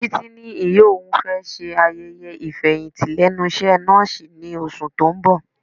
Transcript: Títí ní ìyá òun fẹ́ ṣe ayẹyẹ ifeyinti lẹ́nu iṣẹ́ nọ́ọ̀sì ní oṣù tó ń bọ̀.